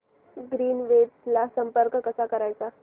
Greenwaves ला संपर्क कसा करायचा